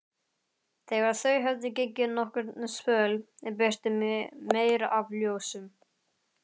Þegar þau höfðu gengið nokkurn spöl birti meir af ljósum.